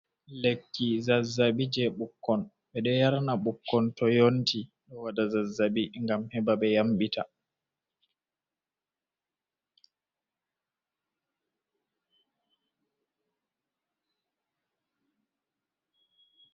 Lekki zazzaɓi je ɓukkon. Ɓe ɗo yarna ɓukkon to yonti, ɗo waɗa zazzaɓi, ngam heɓa ɓe yamɗita.